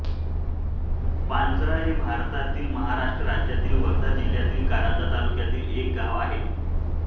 पांजरा हे भारतातील महाराष्ट्र राज्यातील वर्धा जिल्ह्यातील कारंजा तालुक्यातील एक गाव आहे